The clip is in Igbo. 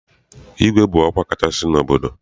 Igwe bụ ọkwa kacha n'obodo.